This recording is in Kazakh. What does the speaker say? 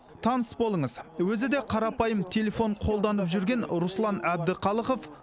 таныс болыңыз өзі де қарапайым телефон қолданып жүрген руслан әбдіқалықов